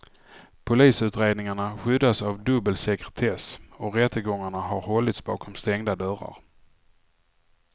Polisutredningarna skyddas av dubbel sekretess och rättegångarna har hållits bakom stängda dörrar.